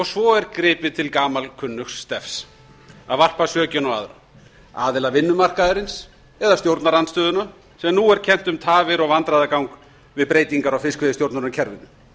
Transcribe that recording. svo er gripið til gamalkunnugs stefs að varpa sökinni á aðra aðila vinnumarkaðarins eða stjórnarandstöðuna sem nú er kennt um tafir og vandræðagang við breytingar á fiskveiðistjórnarkerfinu